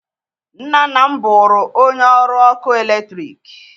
Nna nna m bụrụ onye ọrụ ọkụ eletrik